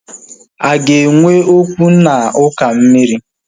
A ga-enwe okwu na uka mmiri?